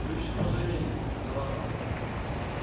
вы ещё пожалеете сказала она